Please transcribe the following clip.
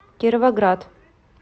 кировоград